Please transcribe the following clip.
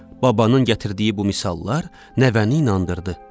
Babanın gətirdiyi bu misallar nəvəni inandırdı.